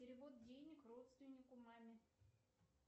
перевод денег родственнику маме